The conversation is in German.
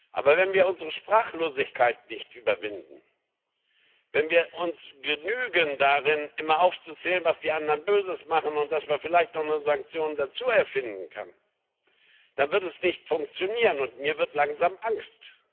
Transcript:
Aber wenn wir unsere Sprachlosigkeit nicht überwinden, wenn wir uns damit begnügen, immer aufzuzählen, was die anderen Böses machen, und dass man vielleicht doch noch eine Sanktion dazuerfinden kann, dann wird es nicht funktionieren, und mir wird langsam angst.